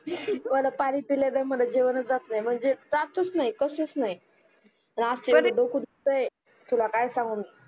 मला पानी पील्या न मला जेवण च जात नाही म्हणजे जाताच नाही कसच नाही डोकं दुखतोय तुला काय सांगू मी